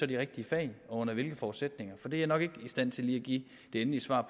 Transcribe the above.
de rigtige fag og under hvilke forudsætninger for det er jeg nok ikke i stand til lige at give det endelige svar